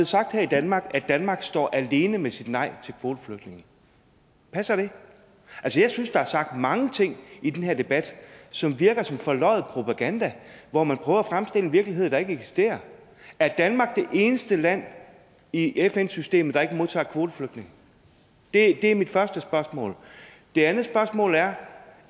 sagt her i danmark at danmark står alene med sit nej til kvoteflygtninge passer det altså jeg synes der er sagt mange ting i den her debat som virker som forløjet propaganda hvor man prøver at fremstille en virkelighed der ikke eksisterer er danmark det eneste land i fn systemet der ikke modtager kvoteflygtninge det er mit første spørgsmål det andet spørgsmål er